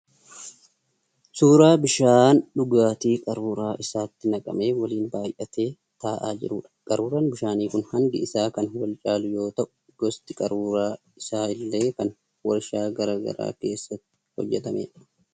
Suuraa bishaan dhugaatii qaruuraa isaatti naqamee waliin baay'atee ta'aa jiruudha. Qaruuraan bishaanii kun hangi isaa kan wal caaluu yoo ta'u gosti qaruuraa isaa illee kan warshaa garaa garaa keessatti hojjetameedha.